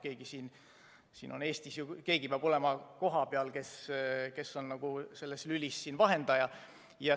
Keegi peab siin Eestis ju olema kohapeal, kes on selles lülis vahendaja.